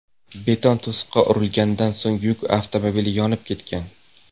Beton to‘siqqa urilganidan so‘ng yuk avtomobili yonib ketgan.